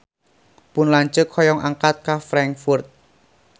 Pun lanceuk hoyong angkat ka Frankfurt